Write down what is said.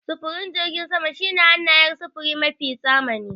Sufurin jirgin sama shine hanayar sufuri mafi zamani.